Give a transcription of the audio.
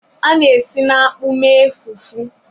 A na-esi na akpu mee fufu